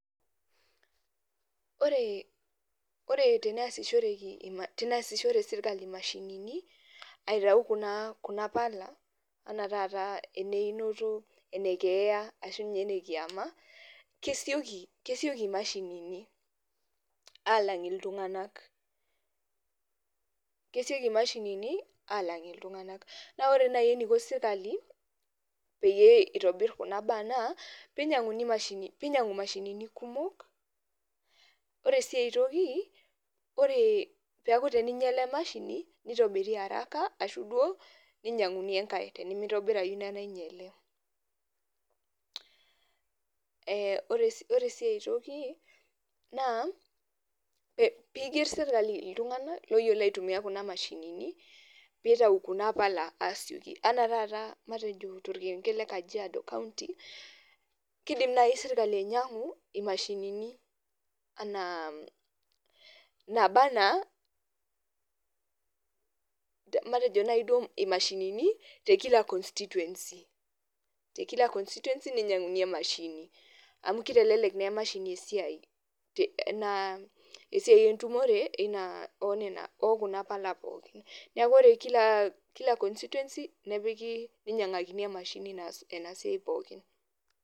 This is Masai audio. Oree ore teneasishoreki [ima], teneasishore sirkali imashinini aitau kunaa kuna pala anaa taataa eneinito, enekeeya ashu ninye enekiama kesioki, kesioki mashinini aalang iltung'anak. Kesioki imashinini aalang iltung'anak. Naa ore nai eneiko sirkali peyie eitobirr kuna baa naa peinyang'uni mashini, peinyang'u mashinini kumok. Ore sii aitoki, oree peaku teninyala emashini nitobiri araka ashuu duo ninyang'uni engai tenemeitobirayu ina nainyal. Eeh ore si oresii aitoki naa peeigerr sirkali iltung'anak loyiolo aitumia kuna mashinini peeitau kuna pala aasioki anaa taataa matejo tolkerenket le kajiado  county keidim nai sirkali ainyang'u imashinini anaa mmh nabaa anaa, matejo nai duo imashinini te kila constituency, te kila constituency neinyang'uni emashini amu keitelelek neemashini esiai te naa esiai entumore eina , oonena ookuna pala pookin. Neaku ore kilaa, kila constituency nepikii neinyang'akini emashini naas enasiai pookin.